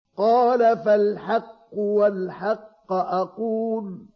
قَالَ فَالْحَقُّ وَالْحَقَّ أَقُولُ